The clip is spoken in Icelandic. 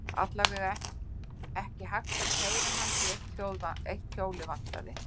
Alla vega var ekki hægt að keyra hann, því að eitt hjólið vantaði.